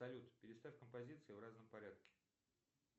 салют переставь композиции в разном порядке